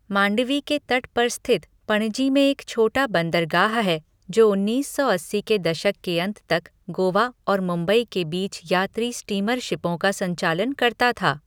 मांडवी के तट पर स्थित पणजी में एक छोटा बंदरगाह है, जो उन्नीस सौ अस्सी के दशक के अंत तक गोवा और मुंबई के बीच यात्री स्टीमरशिपों का संचालन करता था।